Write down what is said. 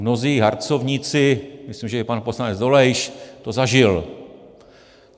Mnozí harcovníci, myslím že i pan poslanec Dolejš to zažil.